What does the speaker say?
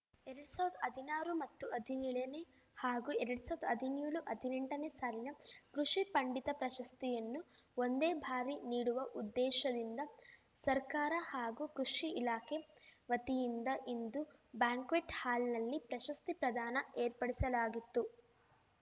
ಎರಡ್ ಸಾವಿರ್ ಹದಿನಾರು ಮತ್ತು ಹದಿನೇಳನೇ ಹಾಗೂ ಎರಡ್ ಸಾವಿರ್ ಹದಿನೇಳು ಹದಿನೆಂಟ ನೇ ಸಾಲಿನ ಕೃಷಿ ಪಂಡಿತ ಪ್ರಶಸ್ತಿಯನ್ನು ಒಂದೇ ಬಾರಿ ನೀಡುವ ಉದ್ದೇಶದಿಂದ ಸರ್ಕಾರ ಹಾಗೂ ಕೃಷಿ ಇಲಾಖೆ ವತಿಯಿಂದ ಇಂದು ಬ್ಯಾಂಕ್ವೆಟ್ ಹಾಲ್‍ನಲ್ಲಿ ಪ್ರಶಸ್ತಿ ಪ್ರದಾನ ಏರ್ಪಡಿಸಲಾಗಿತ್ತು